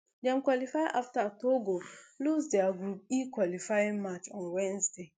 dem qualify afta togo lose dia group e qualifying match on wednesday